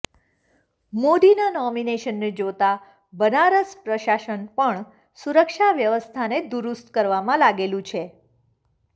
મોદીના નોમિનેશનને જોતા બનારસ પ્રશાસન પણ સુરક્ષા વ્યવસ્થાને દુરુસ્ત કરવામાં લાગેલુ છે